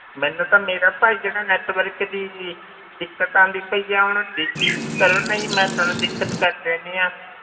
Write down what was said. ਮੈਨੂੰ ਤਾਂ ਮੇਰਾ ਭਾਈ ਜਿਹੜਾ network ਦੀ ਦਿੱਕਤ ਆਉਂਦੀ ਪਈ ਆ, ਉਹਨੂੰ ਵੀ ਠੀਕ ਕਰੋ ਨਹੀਂ ਮੈਂ ਤੁਹਾਨੂੰ ਦਿੱਕਤ ਕਰ ਦੇਣੀ ਹੈ,